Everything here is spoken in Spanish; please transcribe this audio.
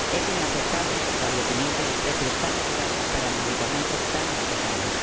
Es inaceptable el establecimiento de precios tan elevados para medicamentos tan necesarios.